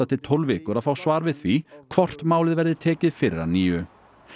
til tólf vikur að fá svar við því hvort málið verði tekið fyrir að nýju